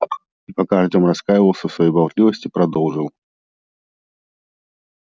и пока артём раскаивался в своей болтливости продолжил